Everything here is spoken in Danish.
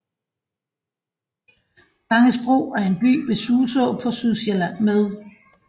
Gangesbro er en by ved Suså på Sydsjælland med